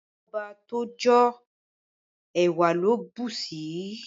Ilé ọba t'o jo, ewa lo busi